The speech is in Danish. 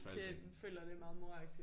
Det føler jeg det er meget moragtigt